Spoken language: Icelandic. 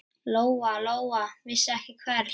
Lóa-Lóa vissi ekki við hvern.